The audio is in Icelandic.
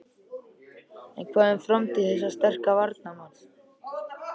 En hvað um framtíð þessa sterka varnarmanns?